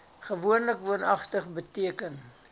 gewoonlik woonagtig beteken